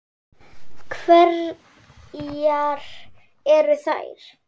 Hverjar eru þær?